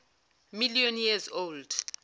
million years old